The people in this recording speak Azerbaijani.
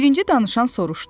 Birinci danışan soruşdu.